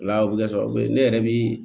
O la o bɛ kɛ sababu ye ne yɛrɛ bi